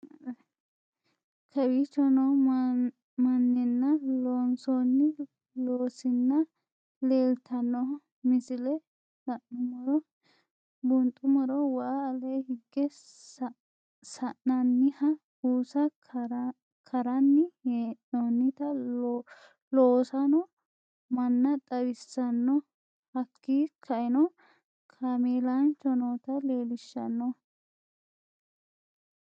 Kaawicho noo manninna lossoni loosinna lelittano misile la'nuumorro buxxumorro waa ale higge sa'nanniha bussa karranni he'noonitta lossanoo manna xawisaano hakki ka'enoo kaamelancho notta lelishshanoo